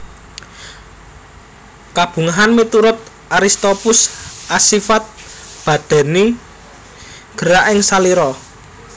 Kabungahan miturut Aristoppus asifat badani gerak ing salira